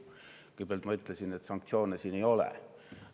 Kõigepealt, ma ütlesin, et sanktsioone siin ei ole.